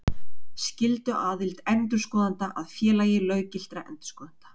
Skylduaðild endurskoðenda að Félagi löggiltra endurskoðenda.